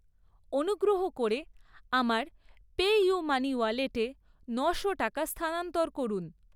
অনুগ্রহ করে আমার পেইউমানি ওয়ালেটে নশো টাকা স্থানান্তর করুন।